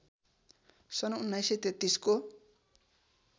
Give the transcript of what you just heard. सन् १९३३ को